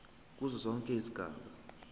kuzo zonke izigaba